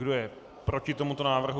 Kdo je proti tomuto návrhu?